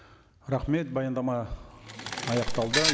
рахмет баяндама аяқталды